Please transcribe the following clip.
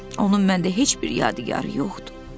Onun məndə heç bir yadigarı yoxdur.